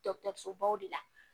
baw de la